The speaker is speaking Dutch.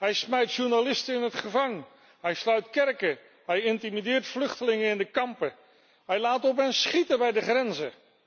Hij gooit journalisten in de gevangenis, hij sluit kerken, hij intimideert vluchtelingen in de kampen, hij laat op hen schieten bij de grenzen.